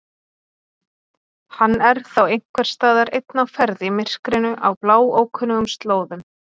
Hann er þá einhversstaðar einn á ferð í myrkrinu á bláókunnugum slóðum.